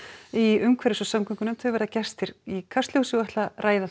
í umhverfis og samgöngunefnd verða gestir í Kastljósi og ætla að ræða